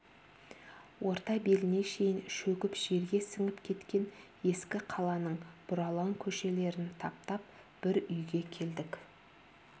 ортан беліне шейін шөгіп жерге сіңіп кеткен ескі қаланың бұралаң көшелерін таптап бір үйге келдік